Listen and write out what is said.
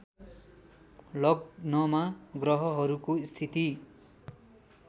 लग्नमा ग्रहहरूको स्थिति